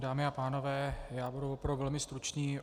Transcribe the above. Dámy a pánové, já budu opravdu velmi stručný